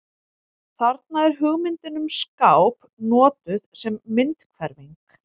Þarna er hugmyndin um skáp notuð sem myndhverfing.